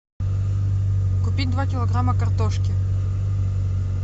купить два килограмма картошки